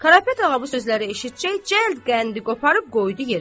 Qarapet ağa bu sözləri eşitcək, cəld qəndi qoparıb qoydu yerinə.